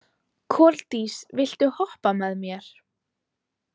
Koldís, viltu hoppa með mér?